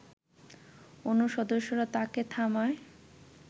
অন্য সদস্যরা তাকে থামায়